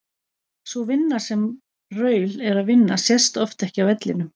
Sú vinna sem Raul er að vinna sést oft ekki á vellinum.